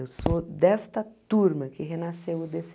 Eu sou desta turma que renasceu o dê cê.